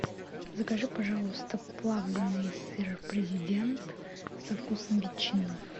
закажи пожалуйста плавленый сыр президент со вкусом ветчины